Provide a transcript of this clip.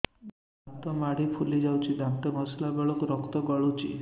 ଦାନ୍ତ ମାଢ଼ୀ ଫୁଲି ଯାଉଛି ଦାନ୍ତ ଘଷିଲା ବେଳକୁ ରକ୍ତ ଗଳୁଛି